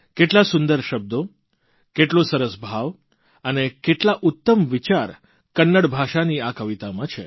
કેટલા સુંદર શબ્દો કેટલો સરસ ભાવ અને કેટલા ઉત્તમ વિચાર કન્નડ ભાષાની આ કવિતામાં છે